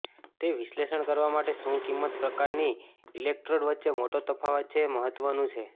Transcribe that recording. તે વિશ્લેષણ કરવા માટે શું કિંમત પ્રકારની ઇલેક્ટ્રોડ વચ્ચે મોટો તફાવત છે મહત્વનું છે